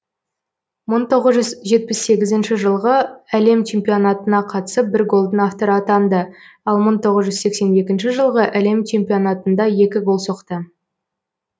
мың тоғыз жүз жетпіс сегізінші жылғы әлем чемпионатына қатысып бір голдың авторы атанды ал мың тоғыз жүз сексен екінші жылғы әлем чемпионатында екі гол соқты